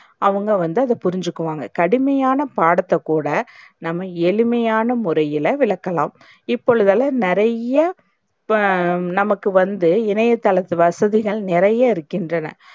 அவங்க வந்து அத புரிஞ்சுக்குவாங்க. கடுமையான பாடத்தக்கூட நாம்ம எளிமையான முறையில விளக்கலாம். இப்பொழுதெல்லாம் நறைய ஆஹ் நமக்கு வந்து இணையதளத்து வசதிகள் நறைய இருக்கின்றன.